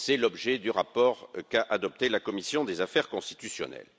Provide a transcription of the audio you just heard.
C'est l'objet du rapport qu'a adopté la commission des affaires constitutionnelles.